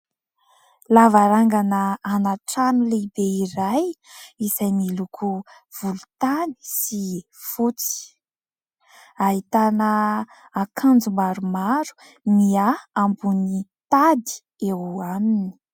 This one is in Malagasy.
Lavarangana anaty trano lehibe iray, izay miloko volontany sy fotsy. Ahitana akanjo maromaro mihahy ambony tady eo aminy.